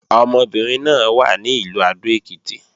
Ọmọbìnrin náà wà ní Ìlú Adó-Èkìtì